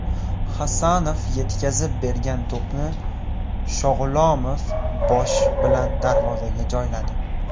Hasanov yetkazib bergan to‘pni Shog‘ulomov bosh bilan darvozaga joyladi.